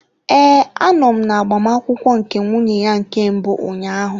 Ee, anọ m na agbamakwụkwọ nke nwunye ya nke mbụ ụnyaahụ.